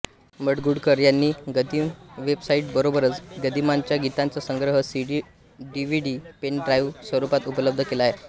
माडगूळकर यांनी गदिमा वेबसाईट बरोबरच गदिमांच्या गीतांचा संग्रह सीडी डीव्हीडी पेनड्राईव्ह स्वरूपात उपलब्ध केला आहे